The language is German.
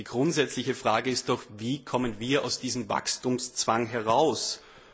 Die grundsätzliche Frage ist doch, wie wir aus diesem Wachstumszwang herauskommen.